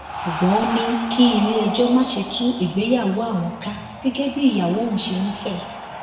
ṣùgbọn ó ní kí iléẹjọ má ṣe tú ìgbéyàwó àwọn ká gẹgẹ bí ìyàwó òun ṣe ń fẹ